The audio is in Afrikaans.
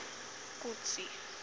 kotsi